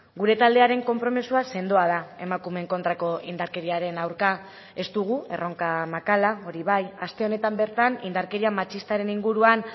gure taldearen konpromisoa sendoa da emakumeen kontrako indarkeriaren aurka ez dugu erronka makala hori bai aste honetan bertan indarkeria matxistaren inguruan